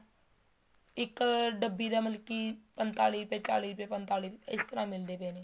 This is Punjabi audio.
ਇੱਕ ਡੱਬੀ ਦਾ ਮਤਲਬ ਕੀ ਪੰਤਾਲੀ ਰੁਪਏ ਚਾਲੀ ਰੁਪਏ ਪੰਤਾਲੀ ਰੁਪਏ ਇਸ ਤਰ੍ਹਾਂ ਮਿਲਦੇ ਪਏ ਨੇ